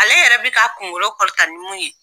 Ale yɛrɛ bɛ k'a kunkolo kɔrɔta nin mun ye